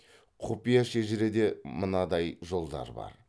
құпия шежіреде мындай жолдар бар